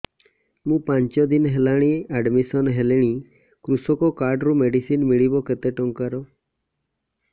ମୁ ପାଞ୍ଚ ଦିନ ହେଲାଣି ଆଡ୍ମିଶନ ହେଲିଣି କୃଷକ କାର୍ଡ ରୁ ମେଡିସିନ ମିଳିବ କେତେ ଟଙ୍କାର